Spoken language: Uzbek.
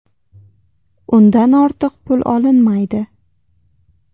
Undan ortiq pul olinmaydi.